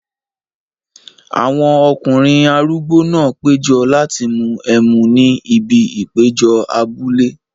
Àwọn ọkùnrin arúgbó náà péjọ láti mú ẹmu ní ibi ìpéjọ abúlé.